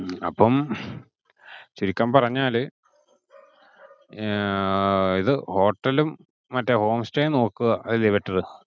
അപ്പം ചുരുക്കം പറഞ്ഞാല് ഇത് hotel ഉം മറ്റേ home stay ഉം നോക്കുക അതല്ലിയോ better.